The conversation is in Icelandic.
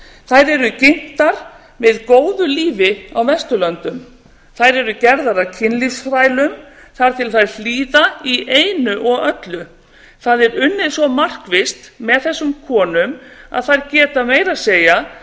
þær eru ginntar með góðu lífi á vesturlöndum þær eru gerðar að kynlífsþrælum þar til þær hlýða í einu og öllu það er unnið svo markvisst með þessum konum að þær geta meira að segja